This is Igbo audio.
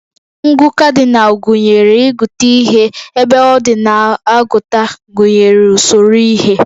Ngụ Cardinal gụnyere ịgụta ihe, ebe ordinal agụta gụnyere usoro ihe